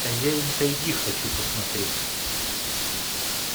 хозяин тайги хочу посмотреть